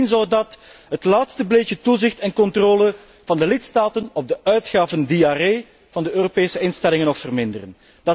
Bovendien zou dat het laatste beetje toezicht en controle van de lidstaten op de uitgavendiarree van de Europese instellingen nog verminderen.